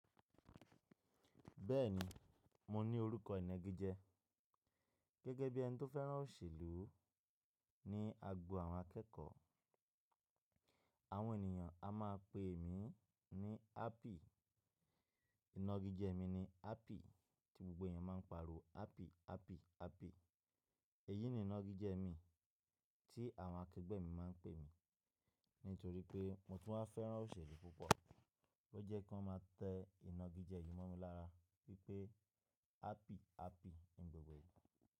Bẹ́ẹ̀ni, mo ní orúkọ ìnagijẹ gẹ́gẹ́ bí ẹni tó fẹ́ràn òṣèlú ní agbo àwọn akẹ́kọ̀ọ́. Àwọn ènìyàn a máa pè mí ní Happy. Ìnagijẹ mi ni Happy tí gbogbo èèyàn máa ń pariwo Happy, Happy, Happy. Èyí ni ìnagijẹ mi tí àwọn akẹgbẹ́ mi máa ń pè mí nítorí pé mo tún máa fẹ́ràn òṣèlú púpọ̀, ó jẹ́ kí wọ́n máa tẹ ìnagijẹ yí mọ́ mi lára wípé Happy, Happy, ní gbògbò ìgbà.